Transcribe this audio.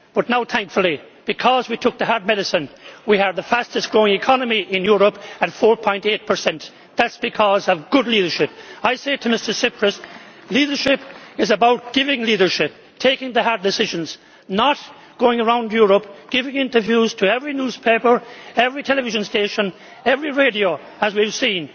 But now, thankfully, because we took the hard medicine, we have the fastest growing economy in Europe, at 4.8. That is because of good leadership. I say to Mr Tsipras leadership is about giving leadership and taking the hard decisions, not going around Europe giving interviews to every newspaper, television station and radio station, as we have